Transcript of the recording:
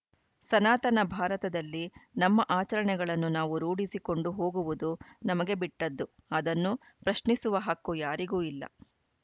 ಸನಾತನ ಭಾರತದಲ್ಲಿ ನಮ್ಮ ಆಚರಣೆಗಳನ್ನು ನಾವು ರೂಢಿಸಿಕೊಂಡು ಹೋಗುವುದು ನಮಗೆ ಬಿಟ್ಟದ್ದು ಅದನ್ನು ಪ್ರಶ್ನಿಸುವ ಹಕ್ಕು ಯಾರಿಗೂ ಇಲ್ಲ